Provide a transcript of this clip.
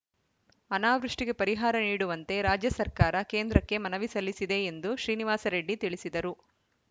ಅನಾವೃಷ್ಟಿಗೆ ಪರಿಹಾರ ನೀಡುವಂತೆ ರಾಜ್ಯ ಸರ್ಕಾರ ಕೇಂದ್ರಕ್ಕೆ ಮನವಿ ಸಲ್ಲಿಸಿದೆ ಎಂದು ಶ್ರೀನಿವಾಸ ರೆಡ್ಡಿ ತಿಳಿಸಿದರು